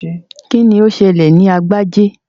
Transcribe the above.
Kíni ó ṣẹlẹ̀ sí Agbájé?